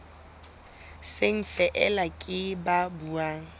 seng feela ke ba buang